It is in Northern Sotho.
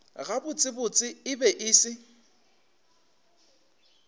gabotsebotse e be e se